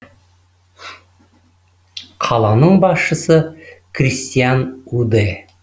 қаланың басшысы кристиан уде